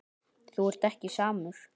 Þú ert ekki samur.